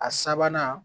A sabanan